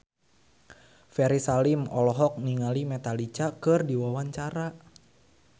Ferry Salim olohok ningali Metallica keur diwawancara